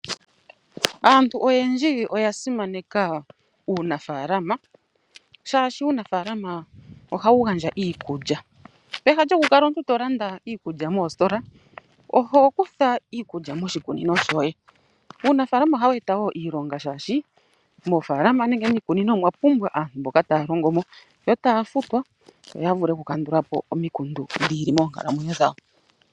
Aantu oyendji oya simaneka uunafaalama shaashi uunafaalama ohawu gandja iikulya. Peha lyokukala omuntu to landa iikulya moositola oho kutha iikulya moshikunino shoye. Uunafaalama ohawu eta wo iilonga shaashi moofalama nenge miikunino omwa pumbwa aantu mboka taya longo mo yo taya futwa yo ya vule oku kandula po omikundu dhi ili moonkalamwenyo dhawo.